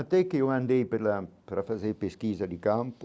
Até que eu andei pela para fazer pesquisa de campo,